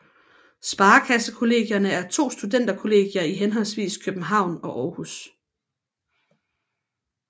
Sparekassekollegierne er to studenterkollegier i henholdsvis København og Aarhus